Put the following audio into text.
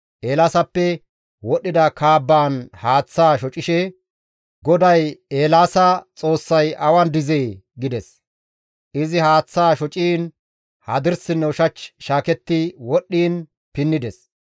Eelaasappe wodhdhida kaabbaan haaththaa shocishe, «GODAY Eelaasa Xoossay awan dizee?» gides; izi haaththaa shociin hadirsinne ushach shaaketti wodhdhiin pinnides.